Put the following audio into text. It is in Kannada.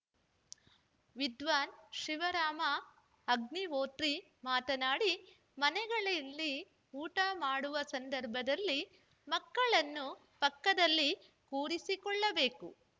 ವಿದ್ವಾನ್‌ ಶಿವರಾಮ ಅಗ್ನಿಹೋತ್ರಿ ಮಾತನಾಡಿ ಮನೆಗಳಲ್ಲಿ ಊಟ ಮಾಡುವ ಸಂದರ್ಭದಲ್ಲಿ ಮಕ್ಕಳನ್ನು ಪಕ್ಕದಲ್ಲಿ ಕೂರಿಸಿಕೊಳ್ಳಬೇಕು